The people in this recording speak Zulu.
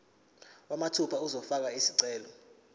mathupha uzofaka isicelo